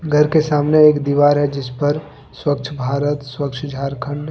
घर के सामने एक दीवार है जिस पर स्वच्छ भारत स्वच्छ झारखंड--